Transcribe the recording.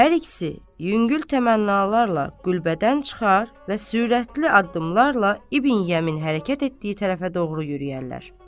Hər ikisi yüngül təmənnalarla qüldən çıxar və sürətli addımlarla İbn Yəmin hərəkət etdiyi tərəfə doğru yürüyərlər.